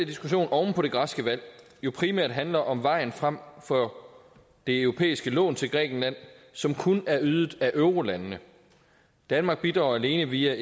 diskussion oven på det græske valg jo primært handler om vejen frem for det europæiske lån til grækenland som kun er ydet af eurolandene danmark bidrager alene via